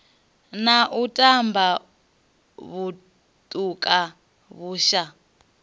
na u tamba vhutuka vhusha